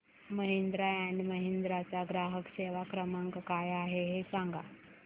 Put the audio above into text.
Mahindra and Mahindra चा ग्राहक सेवा क्रमांक काय आहे हे सांगा